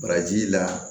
Baraji la